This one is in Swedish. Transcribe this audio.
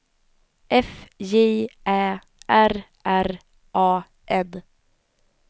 F J Ä R R A N